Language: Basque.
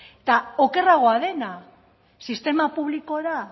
eta okerragoa dena sistema publikora